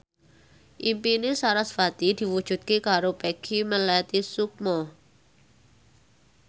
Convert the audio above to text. impine sarasvati diwujudke karo Peggy Melati Sukma